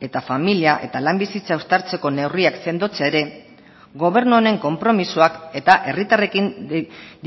eta familia eta lan bizitza uztartzeko neurriak sendotzea ere gobernu honen konpromisoak eta herritarrekin